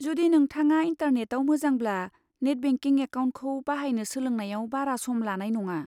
जुदि नोंथाङा इन्टारनेटाव मोजांब्ला, नेट बेंकिं एकाउन्टखौ बाहायनो सोलोंनायाव बारा सम लानाय नङा।